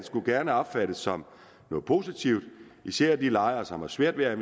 skulle gerne opfattes som noget positivt især af de lejere som har svært ved at